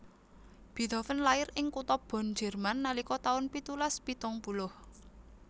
Beethoven lair ing kutha Bonn Jerman nalika taun pitulas pitung puluh